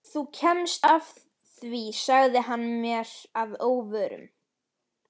Þú kemst að því sagði hann mér að óvörum.